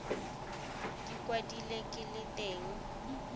di kwadilwe ke le teng